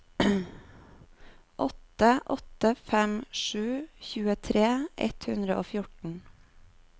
åtte åtte fem sju tjuetre ett hundre og fjorten